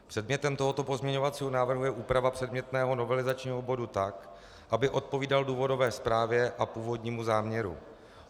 Předmětem tohoto pozměňovacího návrhu je úprava předmětného novelizačního bodu tak, aby odpovídal důvodové zprávě a původnímu záměru.